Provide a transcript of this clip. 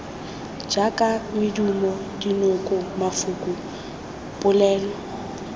jaaka medumo dinoko mafoko polelo